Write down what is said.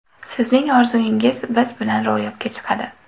Sizning orzuingiz biz bilan ro‘yobga chiqadi!